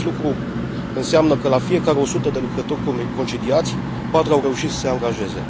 Acest lucru înseamnă că la fiecare o sută de lucrători concediați, patru au reușit să se angajeze.